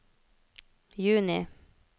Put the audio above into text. juni